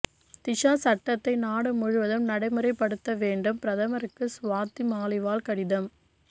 திஷா சட்டத்தை நாடு முழுவதும் நடைமுறைப்படுத்த வேண்டும்பிரதமருக்கு ஸ்வாதி மாலிவால் கடிதம்